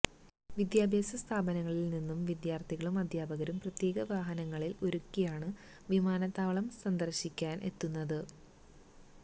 വിദ്യാഭ്യാസ സ്ഥാപനങ്ങളില് നിന്നും വിദ്യാര്ത്ഥികളും അധ്യാപകരും പ്രത്യേക വാഹനങ്ങള് ഒരുക്കിയാണ് വിമാനത്താവളം സന്ദര്ശിക്കാന് എത്തുന്നത്